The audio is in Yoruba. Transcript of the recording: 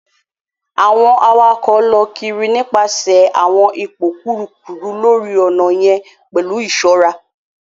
Awọn awakọ lọ kiri nipasẹ awọn ipo kurukuru lori ọnà yen pẹlu iṣọra.